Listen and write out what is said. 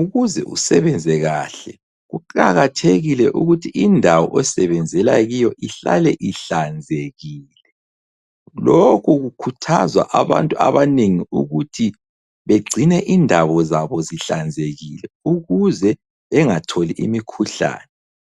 Ukuze usebenze kahle, kuqakathekile ukuthi indawo osebenzela kuyo ihlale ihlanzekile. Lokhu kukhuthaza abantu abanengi ukuthi begcine indawo zabo zihlanzekile ukuze bengatholi imikhuhlane.